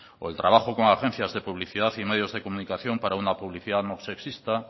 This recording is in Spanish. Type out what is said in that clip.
o el trabajo con agencias de publicidad y medios de comunicación para una publicidad no sexista